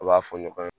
U b'a fɔ ɲɔgɔn ye